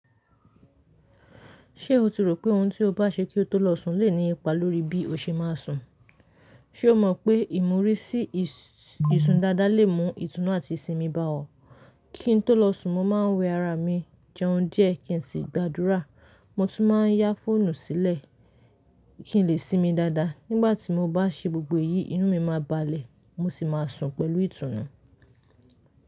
Ṣé o ti rò pé ohun tí o bá ṣe kí o tó lọ sùn lè ní ipa lórí bí o ṣe máa sùn? Ṣé o mọ̀ pé ìmúrí sí isun dada lè mú ìtùnú àti ìsinmi bá ọ? Kí n tó lọ sùn, mo máa ń wẹ ará mi jẹun díẹ̀ kin sì gbadura. Mo tún má a yá fóònù sílẹ̀ kín lè sinmi dada. Nígbà tí mo bá ṣe gbogbo èyí, inú mi máa balẹ̀ mo sì máa sùn pẹ̀lú ìtùnú.